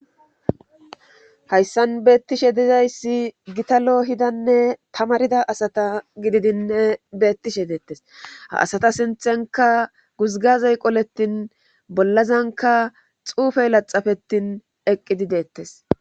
hayssan beettishe dizayssi gitalo hidanne tamarida asata gididinne beettishe deettes ha asata sinthenka guzgazey qoletin bollazanka xuufey laxafetin eqqidi deettes